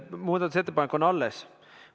Muudatusettepanek on alles.